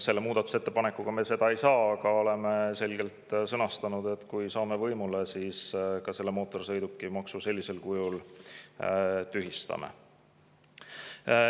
Selle muudatusettepanekuga me seda ei saa, aga oleme selgelt sõnastanud, et kui saame võimule, siis me mootorsõidukimaksu sellisel kujul tühistame.